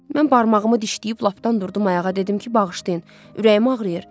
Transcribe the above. Mən barmağımı dişləyib lapdan durdum ayağa, dedim ki, bağışlayın, ürəyim ağrıyır.